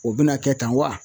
O bɛna kɛ tan wa ?